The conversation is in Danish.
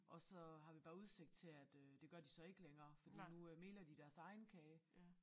Og så har vi bare udsigt til at øh det gør de så ikke længere fordi nu øh meler de deres egen kage